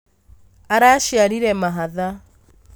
Araciarire mahatha